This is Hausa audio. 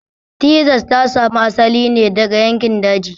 Texas ta samo asali ne daga yankin daji.